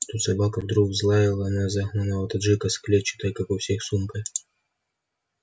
тут собака вдруг взлаяла на загнанного таджика с клетчатой как у всех сумкой